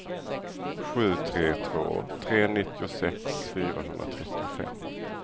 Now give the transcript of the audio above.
sju tre två tre nittiosex fyrahundratrettiofem